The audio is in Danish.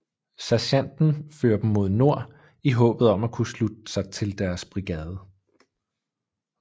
Sergenten fører dem mod nord i håbet om at kunne slutte sig til deres brigade